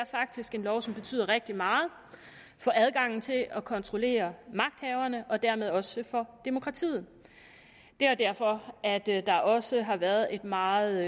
er faktisk en lov som betyder rigtig meget for adgangen til at kontrollere magthaverne og dermed også for demokratiet det er derfor at der der også har været et meget